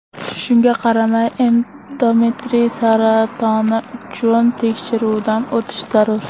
Shunga qaramay endometriy saratoni uchun tekshiruvdan o‘tish zarur.